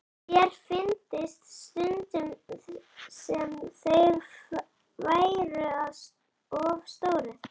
Sér fyndist stundum sem þeir væru of stórir.